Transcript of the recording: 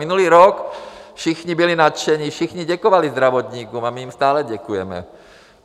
Minulý rok všichni byli nadšeni, všichni děkovali zdravotníkům, a my jim stále děkujeme.